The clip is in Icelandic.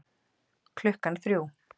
Klukkan þrjú